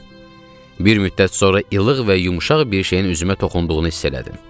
Bir müddət sonra ilıq və yumşaq bir şeyin üzümə toxunduğunu hiss elədim.